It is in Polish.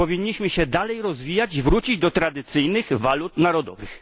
Powinniśmy się dalej rozwijać i wrócić do tradycyjnych walut narodowych.